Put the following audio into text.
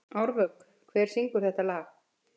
Árvök, hver syngur þetta lag?